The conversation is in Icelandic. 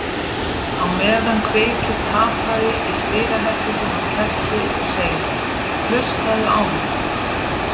Á meðan kveikir tapari í spilaherberginu á kerti og segir: Hlustaðu á mig!